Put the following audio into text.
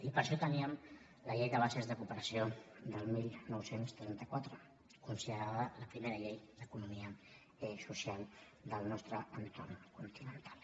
i per això teníem la llei de bases de cooperació del dinou trenta quatre considerada la primera llei d’economia social del nostre entorn continental